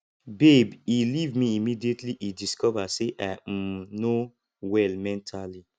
babe he leave me immediately he discover say i um no well mentally